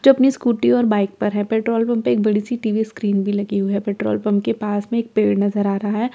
जो अपनी स्‍कूटी और बाइक पर है पेट्रोल पंप पर एक बड़ी सी टी_वी स्‍क्रीन भी लगी हुई है पेट्रोल पंप के पास में एक पेड़ नजर आ रहा है पेट्रोल पंप --